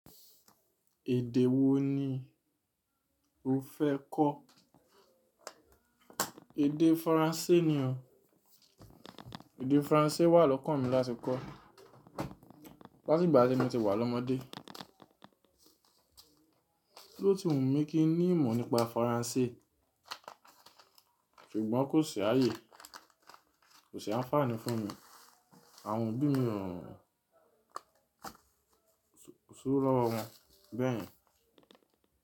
Èdè wo ni o fẹ́ kọ́? Èdè Faransé ni óò. Èdè Faransé wà lọ́kàn mi láti kọ́ láti ìgbà tí mo ti wà lọ́mọdé. Ló ti wù mí kí n ní ìmọ̀ nípa Faransé? Ṣùgbọ́n kò sì àyè, kò sì àǹfààní fún mi. Àwọn òbí mi ò hàn sí owó lọ́wọ́ wọn bẹ́ẹ̀ yẹn.